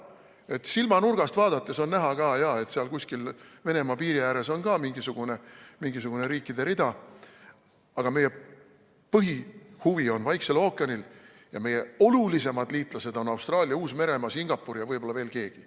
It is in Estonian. Et silmanurgast vaadates on näha jah, et seal kuskil Venemaa piiri ääres on mingisugune riikide rida, aga põhihuvi on Vaiksel ookeanil ja olulisemad liitlased on Austraalia, Uus-Meremaa, Singapur ja võib-olla veel keegi.